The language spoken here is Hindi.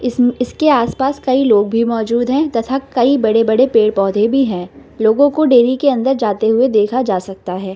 इसमें इसके आस-पास कई लोग भी मौजूद हैं तथा कई बड़े-बड़े पेड़-पौधे भी हैं लोगों को डेयरी के अंदर जाते हुए देखा जा सकता है।